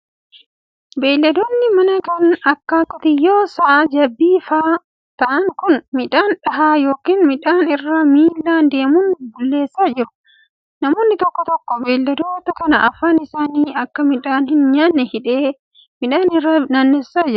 Beeyiladoonni manaa kan akka:qotiyoowwan ,sa'a, jabbii faa ta'an kun, midhaan dhahaa yokin midhaan irra miilan deemun bulleessaa jiru. Namni tokko beeyladoota kana afaan isaanii akka midhaan hin nyaanne hidhee midhaan irra naanneessaa jira.